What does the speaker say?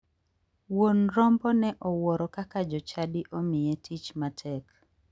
Wuon rombo ne owuoro kaka jochadi omiye tich matek.